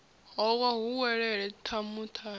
howa hu welelele tamu tamu